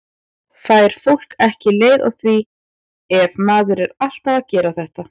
Fær fólk ekki leið á því ef maður er alltaf að gera þetta?